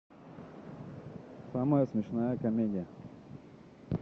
самая смешная комедия